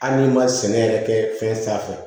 Hali n'i ma sɛnɛ yɛrɛ kɛ fɛn sanfɛ